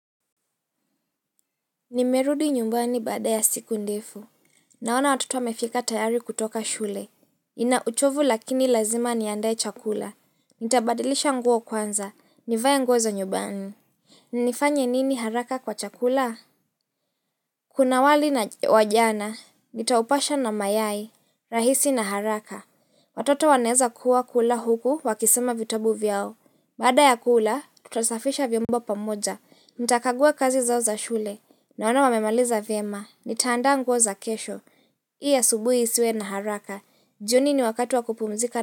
Nimerudi nyumbani baada ya siku ndefu. Naona watoto wamefika tayari kutoka shule. Nina uchovu lakini lazima niandae chakula. Nitabadilisha nguo kwanza. Nivae nguo za nyumbani. Nifanye nini haraka kwa chakula? Kuna wali na wajana, nitaupasha na mayai, rahisi na haraka Watoto waneza kuwa kula huku wakisoma vitabu vyao Baada ya kula, tutasafisha vyombo pamoja Nita kagua kazi zao za shule Naona wamemaliza viema, nitaandaa nguo za kesho Ili subuhi iswe na haraka jioni ni wakati wakupumzika na wajana.